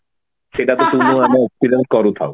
ସେଟା